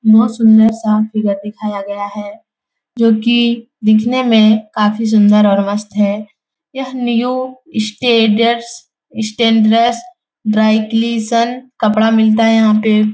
बहुत सुन्दर-सा फिगर दिखाया गया है जोकि दिखने में काफ़ी सुन्दर है और मस्त है। यह नियो स्टेडर्स स्टैन्ड्रस ड्राई क्लीसन कपड़ा मिलता है यहाँ पे ।